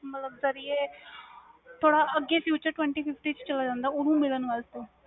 ਮਤਬਲ sir ਆਹ ਅਗੇ futuretwenty- ਚ ਚਲਾ ਜਾਂਦਾ ਵ